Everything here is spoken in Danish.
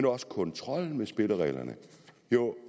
også kontrollen med spillereglerne